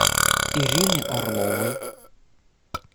ирины орловой